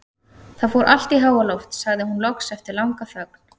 Það fór allt í háaloft, sagði hún loks eftir langa þögn.